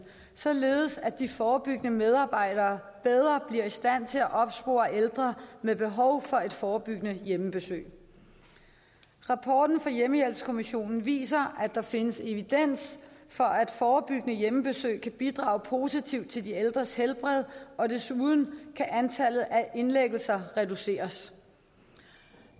således at de forebyggende medarbejdere bedre bliver i stand til at opspore ældre med behov for et forebyggende hjemmebesøg rapporten fra hjemmehjælpskommissionen viser at der findes evidens for at forebyggende hjemmebesøg kan bidrage positivt til de ældres helbred og desuden kan antallet af indlæggelser reduceres